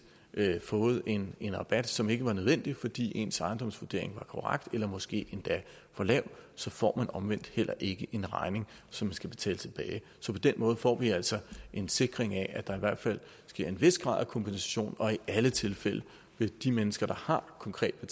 har fået en en rabat som ikke var nødvendig fordi ens ejendomsvurdering var korrekt eller måske endda for lav så får man omvendt heller ikke en regning som skal betales tilbage så på den måde får vi altså en sikring af at der i hvert fald sker en vis grad af kompensation og i alle tilfælde vil de mennesker der konkret har